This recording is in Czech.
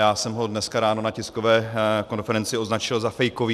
Já jsem ho dneska ráno na tiskové konferenci označil za fejkový.